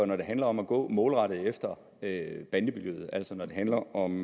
når det handler om at gå målrettet efter bandemiljøet altså når det handler om